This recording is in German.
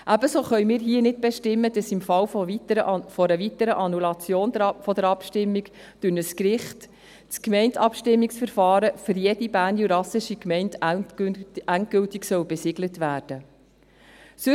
Ebenso können wir hier nicht bestimmen, dass im Fall einer weiteren Annullation der Abstimmung durch ein Gericht das Gemeindeabstimmungsverfahren für jede jurassische Gemeinde endgültig besiegelt werden soll.